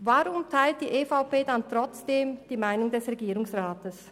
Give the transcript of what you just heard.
Weshalb teilt die EVP trotzdem die Meinung des Regierungsrats?